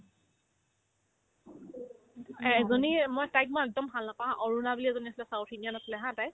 এজনী এ মই তাইক মই একদম ভাল নাপাও haa অৰুণা বুলি এজনী আছিলে south-indian আছিলে haa তাই